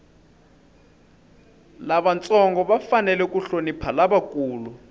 lavantsongo va fanele ku hlonipha lavakulu